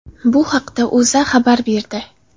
Bu haqda O‘zA xabar berdi .